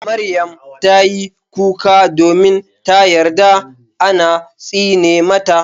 Maryam tayi kuka domin ta yarda an tsine mata.